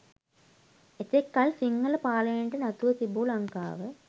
එතෙක් කල් සිංහල පාලනයට නතුව තිබූ ලංකාව